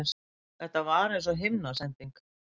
Þetta var eins og himnasending.